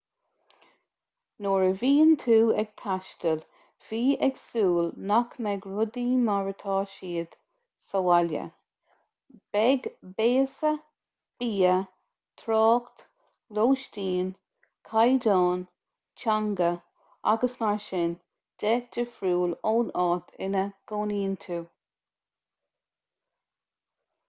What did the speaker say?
nuair a bhíonn tú ag taisteal bí ag súil nach mbeidh rudaí mar atá siad sa bhaile beidh béasa bia trácht lóistín caighdeáin teanga agus mar sin de difriúil ón áit ina gcónaíonn tú